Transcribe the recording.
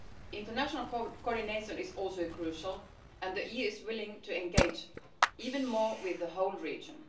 International coordination is also crucial and the EU is willing to engage even more with the whole region.